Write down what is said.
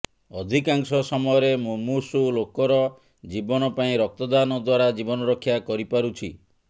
ଅଧିକାଂଶ ସମୟରେ ମୁମୂର୍ଷୁ ଲୋକର ଜୀବନ ପାଇଁ ରକ୍ତଦାନ ଦ୍ୱାରା ଜୀବନ ରକ୍ଷା କରିପାରୁଛି